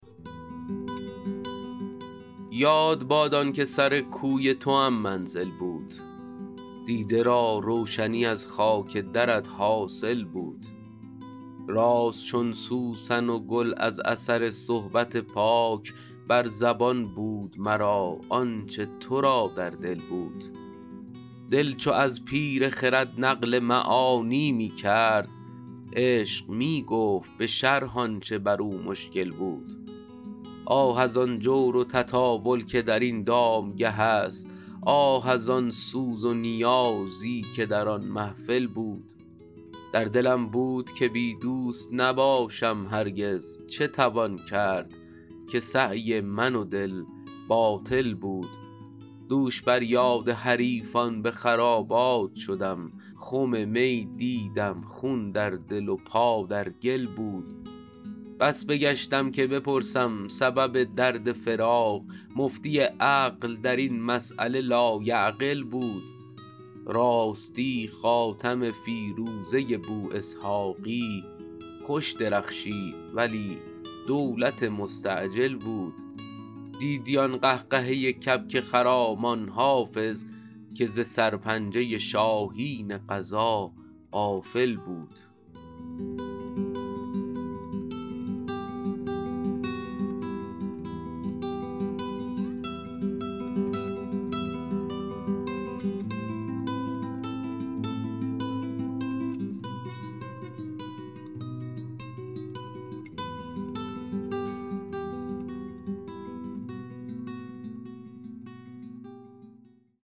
یاد باد آن که سر کوی توام منزل بود دیده را روشنی از خاک درت حاصل بود راست چون سوسن و گل از اثر صحبت پاک بر زبان بود مرا آن چه تو را در دل بود دل چو از پیر خرد نقل معانی می کرد عشق می گفت به شرح آن چه بر او مشکل بود آه از آن جور و تطاول که در این دامگه است آه از آن سوز و نیازی که در آن محفل بود در دلم بود که بی دوست نباشم هرگز چه توان کرد که سعی من و دل باطل بود دوش بر یاد حریفان به خرابات شدم خم می دیدم خون در دل و پا در گل بود بس بگشتم که بپرسم سبب درد فراق مفتی عقل در این مسأله لایعقل بود راستی خاتم فیروزه بواسحاقی خوش درخشید ولی دولت مستعجل بود دیدی آن قهقهه کبک خرامان حافظ که ز سرپنجه شاهین قضا غافل بود